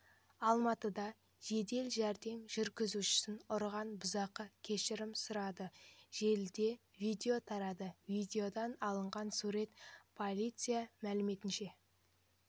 алматыда жедел жәрдем жүргізушісін ұрған бұзақы кешірім сұрады желіде видео тарады видеодан алынған сурет полиция мәліметінше